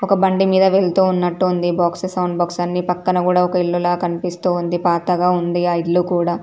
ఒక బండి మీద వెళ్తూ ఉన్నట్టు ఉంది. బాక్సు సౌండ్ బాక్సు అన్నిపక్కన కూడా ఒక ఇల్లు కనిపిస్తూ ఉంది. పాతగా ఉంది ఆ ఇల్లు కూడా.